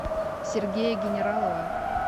сергея генералова